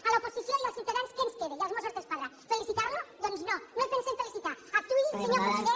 a l’oposició i als ciutadans què ens queda i als mossos d’esquadra felicitar lo doncs no no el pensem felicitar actuï senyor conseller